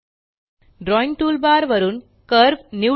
drawing toolbar वरून curve निवडा